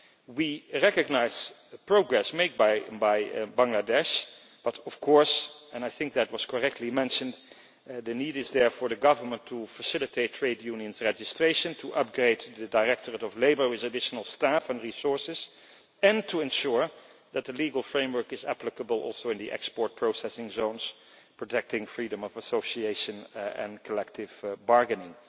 We recognise the progress made by Bangladesh, but of course, and I think that was correctly mentioned, the need is there for the government to facilitate trade unions' registration, to upgrade the directorate of labour with additional staff and resources, and to ensure that the legal framework is also applicable in the export processing zones, protecting freedom of association and collective bargaining.